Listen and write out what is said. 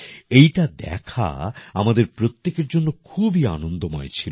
এইটা দেখা আমাদের প্রত্যেকের জন্য খুবই আনন্দময় ছিল